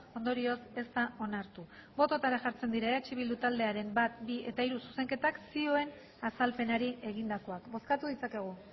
ondorioz ez da onartu bototara jartzen dira eh bildu taldearen bat bi eta hiru zuzenketak zioen azalpenari egindakoak bozkatu ditzakegu